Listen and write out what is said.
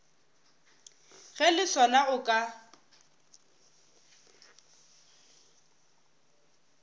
ge le sona o ka